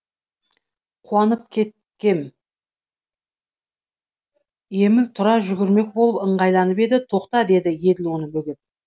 қуанып кеткен еміл тұра жүгірмек болып ыңғайланып еді тоқта деді еділ оны бөгеп